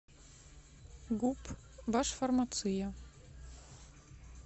гуп башфармация